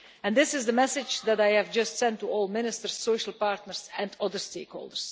This is the message that I have just sent to all Ministers, social partners and all the stakeholders.